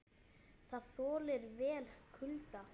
Það þolir vel kulda.